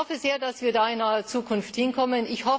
Ich hoffe sehr, dass wir da in naher Zukunft hinkommen.